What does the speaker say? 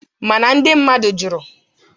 Mana ndị mmadụ jụrụ